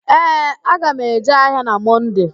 Ee, aga m eje ahịa na Mọnde